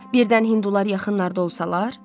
Birdən Hindular yaxınlarda olsalar?